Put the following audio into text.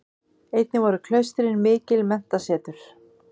Einnig voru klaustrin mikil menntasetur.